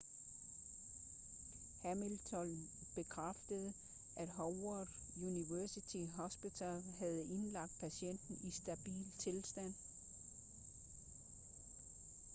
hamilton bekræftede at howard university hospital havde indlagt patienten i stabil tilstand